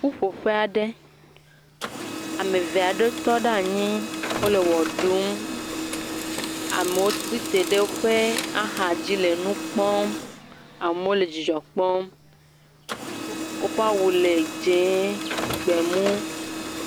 Ƒuƒoƒe aɖe, ame eve aɖewo tɔ ɖe anyi le ʋe ɖum. Ame tsi tre ɖe woƒe axadzi le nu kpɔm. Amewo le dzidzɔ kpɔm. Woƒe awu le dzɛ̃, gbemu.